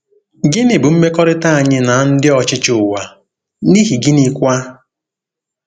Gịnị bụ mmekọrịta anyị na ndị ọchịchị ụwa, n’ihi gịnịkwa?